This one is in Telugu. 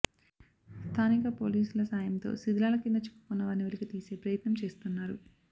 స్థానిక పోలీసుల సాయంతో శిథిలాల కింద చిక్కుకున్న వారిని వెలికితీసే ప్రయత్నం చేస్తున్నారు